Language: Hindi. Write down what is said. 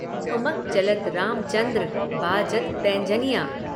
ठुमक चलत रामचन्द्र, बाजत पैजनियाँ।